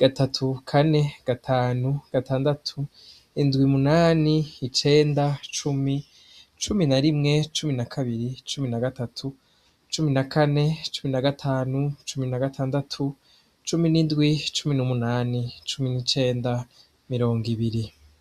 gatatu kane gatanu gatandatu indwi munani icenda cumi cumi na rimwe cumi na kabiri cumi na gatatu cumi na kane cumi na gatanu cumi na gatandatu cumi n'indwi cumi n'umunani cumi n'icenda mirongo ibiri.